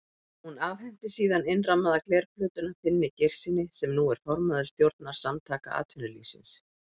Hún afhenti síðan innrammaða glerplötuna Finni Geirssyni, sem nú er formaður stjórnar Samtaka atvinnulífsins.